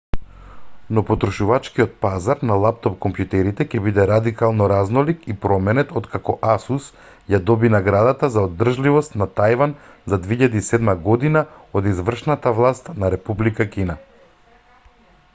но потрошувачкиот пазар на лаптоп-комјутерите ќе биде радикално разнолик и променет откако asus ја доби наградата за одржливост на тајван за 2007 година од извршната власт на република кина